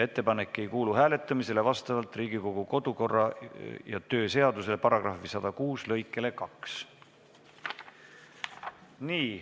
Ettepanek ei kuulu hääletamisele vastavalt Riigikogu kodu- ja töökorra seaduse § 106 lõikele 2.